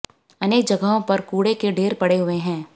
अनेक जगहों पर कूड़े के ढेर पड़े हुए हैं